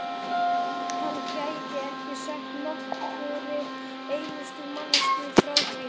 hann gæti ekki sagt nokkurri einustu manneskju frá því.